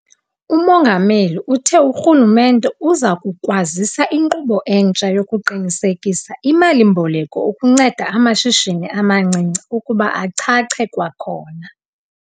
UMongameli uthe urhulumente uza kukwazisa inkqubo entsha yokuqinisekisa imali-mboleko ukunceda amashishini amancinci ukuba achache kwakhona.